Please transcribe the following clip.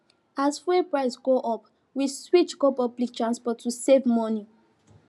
as fuel price go up we switch go public transport to save money